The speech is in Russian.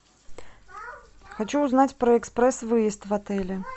хочу узнать про экспресс выезд в отеле